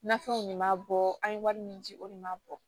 Nafɛnw de m'a bɔ an ye wari min ci o de m'a bɔ